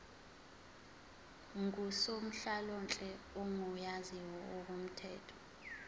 ngusonhlalonhle ogunyaziwe ngokomthetho